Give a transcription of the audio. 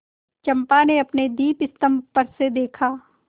चंपा ने अपने दीपस्तंभ पर से देखा